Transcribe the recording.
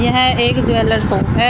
यह एक jewellers shop है।